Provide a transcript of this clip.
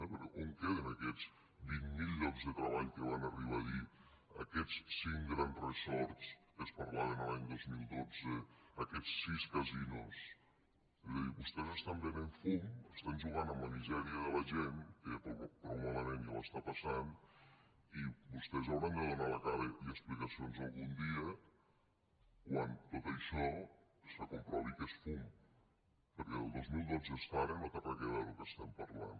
perquè on queden aquests vint mil llocs de treball que van arribar a dir aquests cinc grans resorts que es parlaven l’any dos mil dotze aquests sis casinos és a dir vostès venen fum juguen amb la misèria de la gent que prou malament ja ho passa i vostès hauran de donar la cara i explicacions algun dia quan tot això se comprovi que és fum perquè des del dos mil dotze fins ara no té res a veure lo que parlem